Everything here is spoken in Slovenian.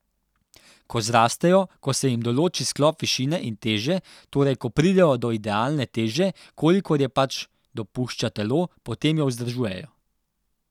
Ko zrastejo, ko se jim določi sklop višine in teže, torej ko pridejo do idealne teže, kolikor jo pač dopušča telo, potem jo vzdržujejo.